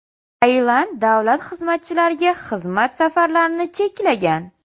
Tailand davlat xizmatchilariga xizmat safarlarini cheklagan .